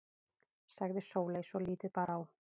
sagði Sóley svo lítið bar á.